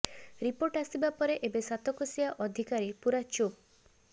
report ଆସିବା ପରେ ଏବେ ସାତକୋଶିଆ ଅଧିକାରୀ ପୁରା ଚୁପ